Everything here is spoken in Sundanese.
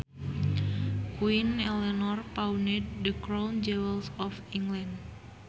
Queen Eleanor pawned the crown jewels of England